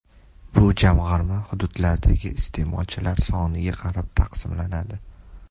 Bu jamg‘arma hududlardagi iste’molchilar soniga qarab taqsimlanadi.